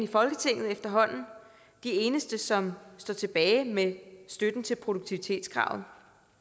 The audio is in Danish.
folketinget efterhånden de eneste som står tilbage med støtten til produktivitetskravet